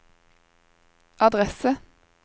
adresse